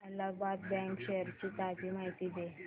Allahabad bank shares ची ताजी माहिती दे